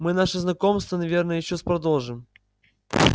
мы наше знакомство наверное ещё с продолжим